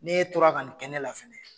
N'e tora ka nin kɛ nin bɛ lafili.